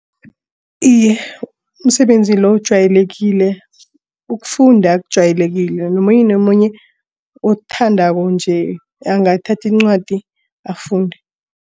Iye, umsebenzi lo ujwayelekile ukufunda kujwayelekileko nomunye nomunye othandako nje angathathi incwadi zakhe afunde.